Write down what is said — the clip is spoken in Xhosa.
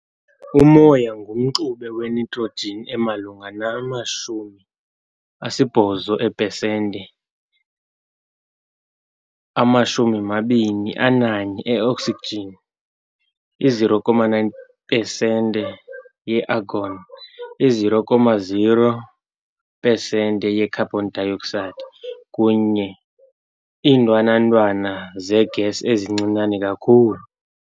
Umoya ngumxube we-nitrogen emalunga nama-78 eepesente, ama-21 e-oxygen, i-0.9 pesente ye-argon, i-0.04 pesente ye-carbon dioxide, kunye nezinye iintwana ntwana zee-gas ezincinane kakhulu.